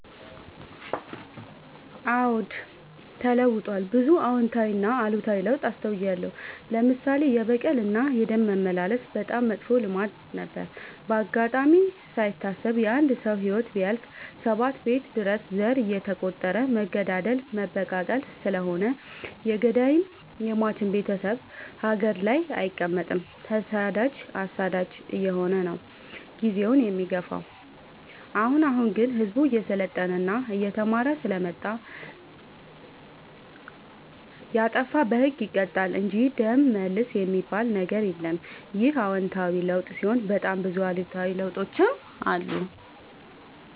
አዎድ ተለውጧል ብዙ አዎታዊ እና አሉታዊ ለውጥ አስታውያለሁ። ለምሳሌ፦ የበቀል እና የደም መመላለስ በጣም መጥፎ ልማድ ነበረ። በአጋጣሚ ካይታሰብ የአንድ ሰው ህይወት ቢያልፍ ሰባት ቤት ድረስ ዘር እየተ ቆጠረ መገዳደል መበቃቀል ስለሆነ የገዳይም የሞችም ቤቴሰብ ሀገር ላይ አይቀ መጥም ተሰዳጅ አሳዳጅ አየሆነ ነው። ጊዜውን የሚገፋው። አሁን አሁን ግን ህዝቡ እየሰለጠና እየተማረ ስለመጣ። የጣፋ በህግ ይቀጣል እንጂ ደም መልስ የሚበል ነገር የለም ይህ አዎታዊ ለውጥ ሲሆን በጣም ብዙ አሉታዊ ለውጦችም አሉ።